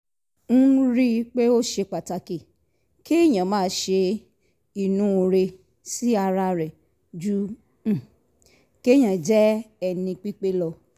n rí i pé ó ṣe pàtàkì kéèyàn máa ṣe inúure sí ara rẹ̀ ju um kéèyàn jẹ́ ẹni pípé lọ